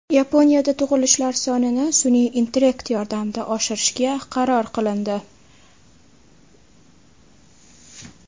Yaponiyada tug‘ilishlar sonini sun’iy intellekt yordamida oshirishga qaror qilindi.